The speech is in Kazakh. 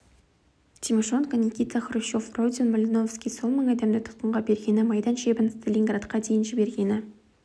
тимошенко никита хрущев родион малиновский сол мың адамды тұтқынға бергені майдан шебін сталинградқа дейін жібергені